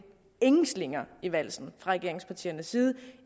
ingen slinger i valsen fra regeringspartiernes side